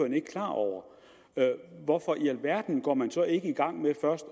ikke klar over hvorfor i alverden går man så ikke i gang med først